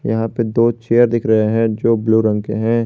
यहां पे दो चेयर दिख रहे हैं जो ब्लू रंग के हैं।